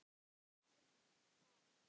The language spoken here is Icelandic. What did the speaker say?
Það er nú það?